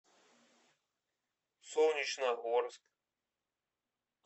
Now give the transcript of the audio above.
солнечногорск